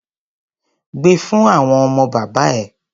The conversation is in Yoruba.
Gbe fún àwọn ọmọ bàbá ẹ!